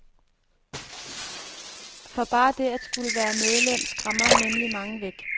For bare det at skulle være medlem skræmmer nemlig mange væk.